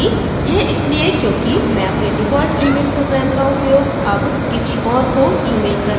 यह इसलिए क्योंकि मैं अपने default email program का उपयोग अब किसी और को email करने के लिए नहीं करती